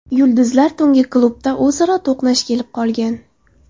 Yulduzlar tungi klubda o‘zaro to‘qnash kelib qolgan.